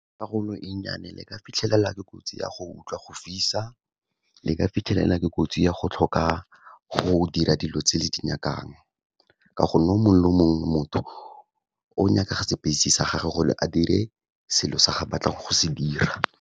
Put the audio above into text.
Karolo e nnyane le ka fitlhelela ke kotsi ya go utlwa go fisa, le ka fitlhelela ke kotsi ya go tlhoka go dira dilo tse le di nyakang. Ka go nne o mongwe le mongwe motho o nyaka space-e sa gage gore a dire selo se batlang go se dira.